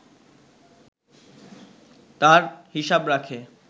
তার হিসাব রাখে